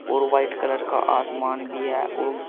और white colour का आसमान भी है वो--